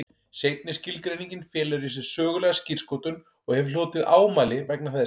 Seinni skilgreiningin felur í sér sögulega skírskotun og hefur hlotið ámæli vegna þess.